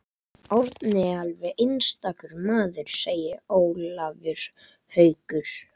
Árni er alveg einstakur maður segir Ólafur Haukur.